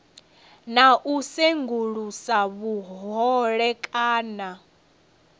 na u sengulusa vhuhole kana